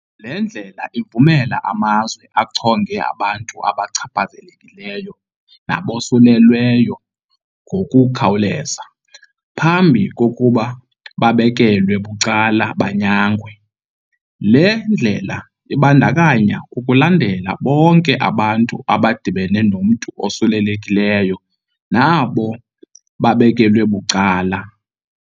Le ndlela ivumela amazwe achonge abantu abachaphazelekileyo nabosulelweyo ngokukhawuleza, phambi kokuba babekelwe bucala banyangwe. Le ndlela ibandakanya ukulandela bonke abantu abadibene nomntu osulelekileyo, nabo babekelwe bucala.